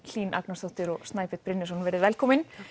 Hlín Agnarsdóttir og Snæbjörn Brynjarsson velkomin